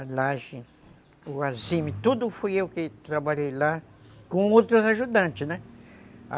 A laje, o azime, tudo fui eu que trabalhei lá com outros ajudantes, né?